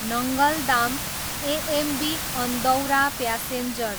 Nangal dam, AMB Andaura passenger